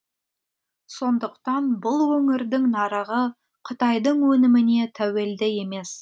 сондықтан бұл өңірдің нарығы қытайдың өніміне тәуелді емес